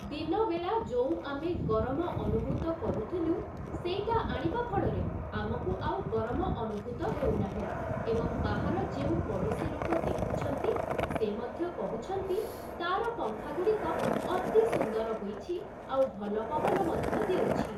ଦିନବେଳା ଯୋଉଁ ଆମେ ଗରମ ଅନୁଭୂତ କରୁଥୁଲୁ, ସେଇଟା ଆଣିବା ଫଳରେ ଆମକୁ ଆଉ ଗରମ ଅନୁଭୂତ ହେଉନାହିଁ ଏବଂ ବାହାର ଯେଉଁ ପଡ଼ୋଶୀ ଲୋକ ଦେଖୁଛନ୍ତି ସେ ମଧ୍ୟ କହୁଛନ୍ତି ତାର ପଙ୍ଖାଗୁଡ଼ିକ ଅତି ସୁନ୍ଦର ହୋଇଛି ଆଉ ଭଲ ପବନ ମଧ୍ୟ ଦେଉଛି ।